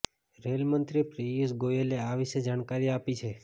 rail મંત્રી પિયુષ ગોયલે આ વિશે જાણકારી આપી છે